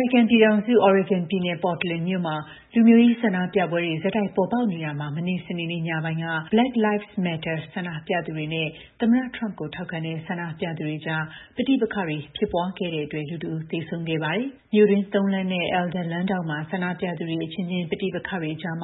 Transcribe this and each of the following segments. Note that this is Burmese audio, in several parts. ရိကန်ပြည်ထောင်စု Oregon ပြည်နယ် Portland မြို့မှာ လူမျိုးရေး ဆန္ဒပြပွဲတွေ ဆက်တိုက် ပေါ်ပေါက်နေတာမှာ မနေ့ စနေနေ့ညပိုင်းက Black Lives Matter ဆန္ဒပြသူတွေနဲ့ သမ္မတ Trump ကို ထောက်ခံတဲ့ ဆန္ဒပြသူတွေကြား ပဋိပက္ခတွေ ဖြစ်ခဲ့တဲ့အတွက် လူ ၁ ဦး သေဆုံးခဲ့ပါတယ်။ မြို့တွင်း ၃ လမ်းနဲ့ Alder လမ်းထောင့်မှာ ဆန္ဒပြသူတွေ အချင်းချင်း ပဋိပက္ခတွေကြား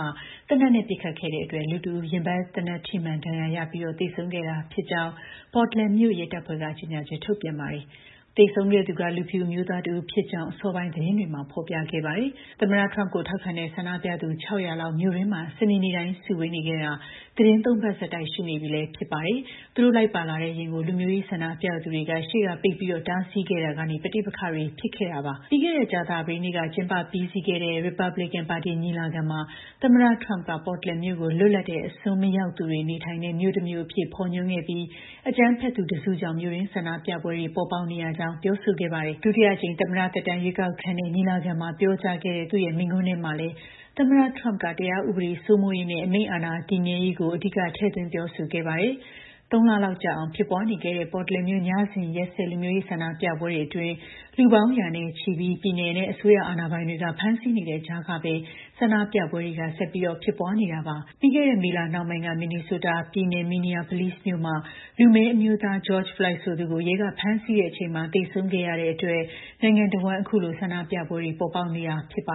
သေနတ်နဲ့ ပစ်ခတ်ခဲ့တဲ့အတွက် လူ ၁ ဦး ရင်ဘတ်သေနတ်ထိမှန် ဒဏ်ရာရပြီး သေဆုံးခဲ့တာဖြစ်ကြောင်း Portland မြို့ ရဲတပ်ဖွဲ့က ကြေညာချက် ထုတ်ပြန်ပါတယ်။ သေဆုံးခဲ့သူက လူဖြူအမျိုးသားတဦးဖြစ်ကြောင်း အစောပိုင်း သတင်းတွေမှာ ဖော်ပြခဲ့ပါတယ်။ သမ္မတ Trump ကို ထောက်ခံတဲ့ ဆန္ဒပြသူ ၆၀၀ လောက် မြို့တွင်းမှာ စနေနေ့တိုင်း စုဝေးခဲ့တာ သီတင်း ၃ ပတ်ဆက်တိုက်ရှိနေပြီ ဖြစ်ပါတယ်။ သူတို့လိုက်ပါလာတဲ့ယာဉ်ကို လူမျိုးရေး ဆန္ဒပြသူတွေက ရှေ့ကပိတ်ပြီး တားဆီးခဲ့တာကနေ ပဋိပက္ခတွေ ဖြစ်ခဲ့တာပါ။ ပြီးခဲ့တဲ့ ကြာသပတေးနေ့က ကျင်းပပြီးစီးခဲ့တဲ့ ရီပတ်ဘလစ်ကန်ပါတီ ညီလာခံမှာ သမ္မတ Trump က Portland မြို့ကို လွတ်လပ်တဲ့ အစွန်းမရောက်သူတွေ နေထိုင်တဲ့ မြို့တမြို့အဖြစ် ဖော်ညွှန်းခဲ့ပြီး အကြမ်းဖက်သူတစုကြောင့် မြို့တွင်း ဆန္ဒပြပွဲတွေ ဖြစ်ပေါ်နေရကြောင်း ပြောဆိုခဲ့တာပါ။ ဒုတိယအကြိမ် သမ္မတသက်တမ်း ရွေးကောက်ခံတဲ့ ညီလာခံမှာ ပြောကြားခဲ့တဲ့ သူ့မိန့်ခွန်းထဲမှာလည်း သမ္မတ Trump က တရားဥပဒေ စိုးမိုးရေးနဲ့ အမိန့်အာဏာ တည်မြဲရေးကို အဓိက ထည့်သွင်း ပြောဆိုခဲ့ပါတယ်။ ၃ လလောက်ကြာအောင် ဖြစ်ပွားနေခဲ့တဲ့ Portland မြို့ ညစဉ်ရက်ဆက် လူမျိုးရေး ဆန္ဒပြပွဲတွေအတွင်း လူပေါင်းရာနဲ့ချီကို ပြည်နယ်နဲ့ အစိုးရ အာဏာပိုင်တွေက ဖမ်းဆီးနေတဲ့ကြားကပဲ ဆန္ဒပြပွဲတွေက ဆက်ပြီး ဖြစ်ပွားနေတာပါ။ ပြီးခဲ့တဲ့ မေလနှောင်းပိုင်းက Minnesota ပြည်နယ် Minneapolis မြို့မှာ လူမည်းအမျိုးသား George Floyd ဆိုသူကို ရဲက ဖမ်းဆီးတဲ့အချိန်မှာ သေဆုံးခဲ့ရတဲ့အတွက် နိုင်ငံတဝန်း အခုလို ဆန္ဒပြပွဲတွေ ပေါ်ပေါက်နေတာလည်း ဖြစ်ပါ